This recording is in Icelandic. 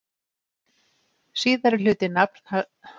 Síðari hluti nafns hans vísar til sósu sem löguð er úr svínslæri.